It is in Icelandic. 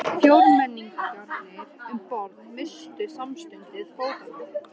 Fjórmenningarnir um borð misstu samstundis fótanna.